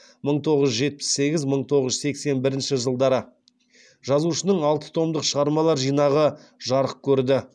мың тоғыз жүз жетпіс сегіз мың тоғыз жүз сексен бірінші жылдары жазушының алты томдық шығармалар жинағы жарық көрді